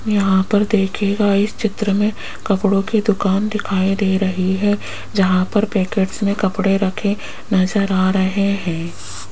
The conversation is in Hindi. यहां पर देखिएगा इस चित्र में कपड़ों की दुकान दिखाई दे रही है जहां पर पैकेट में कपड़े रखे नजर आ रहे हैं।